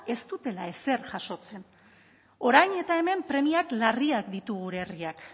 ez dutela ezer jasotzen orain eta hemen premia larriak ditu gure herriak